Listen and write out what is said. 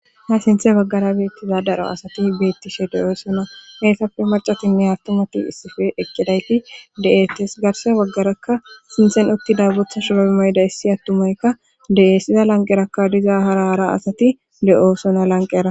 Ha sinthe baggara beettiza daro asati beettishe deyoosona heessafe macatinne attomati issife eqqidayti de'ettes garse baggarakka sinthen utti dabotha shobo moyda issi attumoykka de'eessiza lanqerakka diza haraara asati le'oosona lanqera.